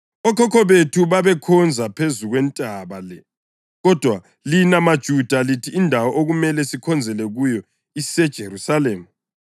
Okhokho bethu babekhonza phezu kwentaba le, kodwa lina maJuda lithi indawo okumele sikhonzele kuyo iseJerusalema.”